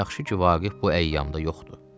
Yaxşı ki, Vaqif bu əyyamda yoxdur.